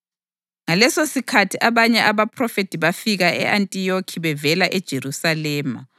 Ngalesosikhathi abanye abaphrofethi bafika e-Antiyokhi bevela eJerusalema.